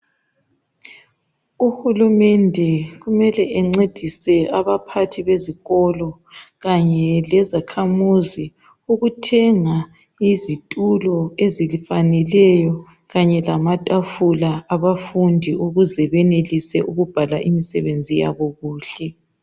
Uhulumende kumele encedise abaphathi bezikolo kanye lezakhamuzi ukuthenga izitulo ezifaneleyo kanye lamatafula abafundi ukuze benelise ukubhala imisebenzi yabo kuhle.